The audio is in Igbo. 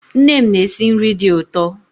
Nne m na-esi nri dị ụtọ